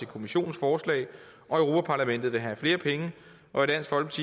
kommissionens forslag og europa parlamentet vil have flere penge og